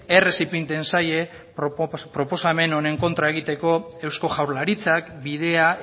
errez ipintzen zaie proposamen honen kontra egiteko eusko jaurlaritzak bidea